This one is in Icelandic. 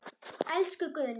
Elsku Guðný.